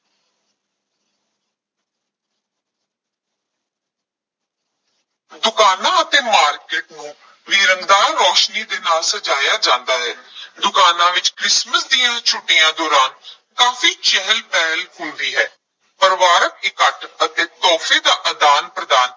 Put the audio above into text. ਦੁਕਾਨਾਂ ਅਤੇ market ਨੂੰ ਵੀ ਰੰਗਦਾਰ ਰੌਸ਼ਨੀ ਦੇ ਨਾਲ ਸਜਾਇਆ ਜਾਂਦਾ ਹੈ ਦੁਕਾਨਾਂ ਵਿੱਚ ਕ੍ਰਿਸਮਸ ਦੀਆਂ ਛੁੱਟੀਆਂ ਦੌਰਾਨ ਕਾਫੀ ਚਹਿਲ ਪਹਿਲ ਹੁੰਦੀ ਹੈ, ਪਰਿਵਾਰਕ ਇਕੱਠ ਅਤੇ ਤੋਹਫ਼ੇ ਦਾ ਆਦਾਨ-ਪ੍ਰਦਾਨ